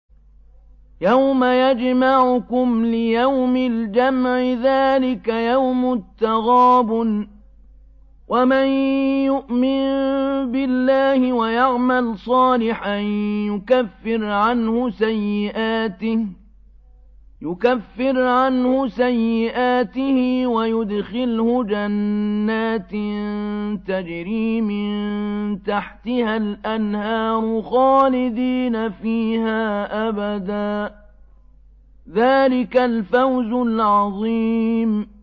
يَوْمَ يَجْمَعُكُمْ لِيَوْمِ الْجَمْعِ ۖ ذَٰلِكَ يَوْمُ التَّغَابُنِ ۗ وَمَن يُؤْمِن بِاللَّهِ وَيَعْمَلْ صَالِحًا يُكَفِّرْ عَنْهُ سَيِّئَاتِهِ وَيُدْخِلْهُ جَنَّاتٍ تَجْرِي مِن تَحْتِهَا الْأَنْهَارُ خَالِدِينَ فِيهَا أَبَدًا ۚ ذَٰلِكَ الْفَوْزُ الْعَظِيمُ